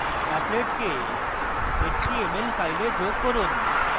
applet কে html কে file যোগ করুন